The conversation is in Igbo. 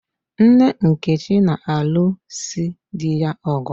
Nne Nkechi na-alụ si di ya ọgụ.